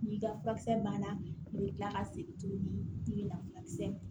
N'i ka furakisɛ banna i bɛ kila ka segin tuguni k'i bɛna furakisɛ